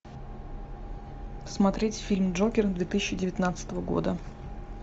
смотреть фильм джокер две тысячи девятнадцатого года